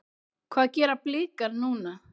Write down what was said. Hvað gera Blikar núna?